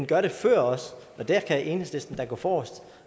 gør det før og der kan enhedslisten da gå forrest